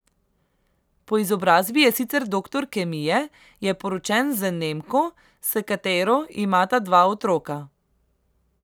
Po izobrazi je sicer doktor kemije, je poročen z Nemko, s katero imata dva otroka.